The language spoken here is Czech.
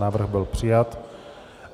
Návrh byl přijat.